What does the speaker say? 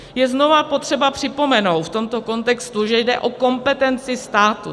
Je znova potřeba připomenout v tomto kontextu, že jde o kompetenci státu.